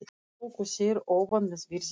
Þá tóku þeir ofan með virðingu.